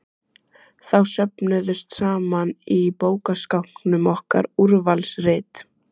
Þá söfnuðust saman í bókaskápnum okkar Úrvalsrit